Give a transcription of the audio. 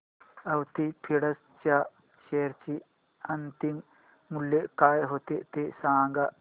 Avanti feeds च्या share चे अंतिम मूल्य काय होते ते सांगा